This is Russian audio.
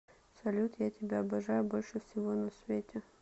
салют я тебя обожаю больше всего на свете